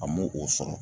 A m'o o sɔrɔ